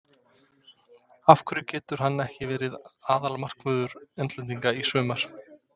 Af hverju getur hann ekki verið aðalmarkvörður englendinga í sumar?